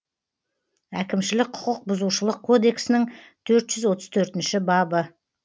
әкімшілік құқық бұзушылық кодексінің төрт жүз отыз төртінші бабы